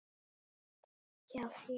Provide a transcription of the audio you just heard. Hjá þér?